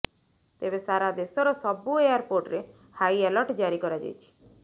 ତେବେ ସାରା ଦେଶର ସବୁ ଏୟାରପୋର୍ଟରେ ହାଇଆଲର୍ଟ ଜାରି କରାଯାଇଛି